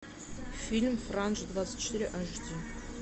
фильм франж двадцать четыре аш ди